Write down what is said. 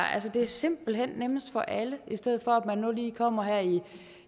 er simpelt hen nemmest for alle i stedet for at man lige kommer i